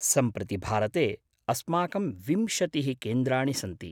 सम्प्रति भारते अस्माकं विंशतिः केन्द्राणि सन्ति।